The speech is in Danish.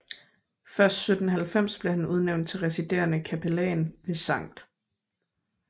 Først 1790 blev han udnævnt til residerende kapellan ved St